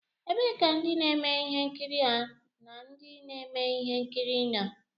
Ebee ka ndị na-eme ihe nkiri na ndị na-eme ihe nkiri nọ?